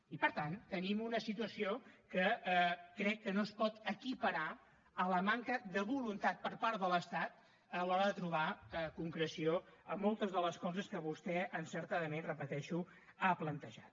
i per tant tenim una situació que crec que no es pot equiparar a la manca de voluntat per part de l’estat a l’hora de trobar concreció a moltes de les coses que vostè encertadament ho repeteixo ha plantejat